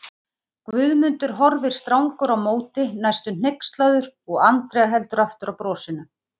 Guðmundur horfir strangur á móti, næstum hneykslaður og Andrea heldur aftur af brosinu.